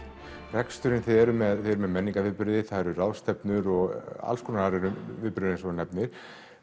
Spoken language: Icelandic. reksturinn þið eruð með menningarviðburði það eru ráðstefnur og alls konar aðrir viðburðir eins og þú nefnir